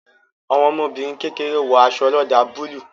Àwọn ọmọbìnrin kékeré wo aṣọ oloda búlúù